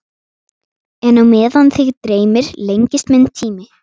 En á meðan þig dreymir lengist minn tími.